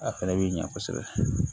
A fɛnɛ bi ɲɛ kosɛbɛ